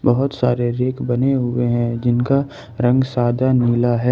बहुत सारे रैक बने हुए हैं जिनका रंग सदा नीला है।